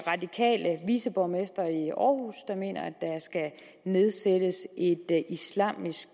radikale viceborgmester i aarhus der mener at der skal nedsættes et islamisk